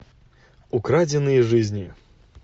украденные жизни